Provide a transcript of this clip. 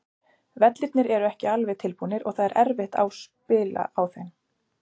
Vellirnir eru ekki alveg tilbúnir og það er erfitt á spila á þeim.